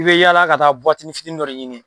I bɛ yala ka taa buwatinin fiti dɔ de ɲini.